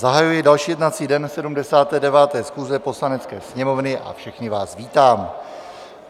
Zahajuji další jednací den 79. schůze Poslanecké sněmovny a všechny vás vítám.